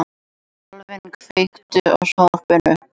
Dalvin, kveiktu á sjónvarpinu.